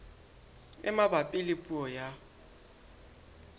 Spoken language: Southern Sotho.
e mabapi le puo ya